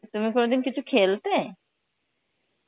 তুমি কোনদিন কিছু খেলতে?